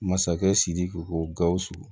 Masakɛ sidiki ko gawusu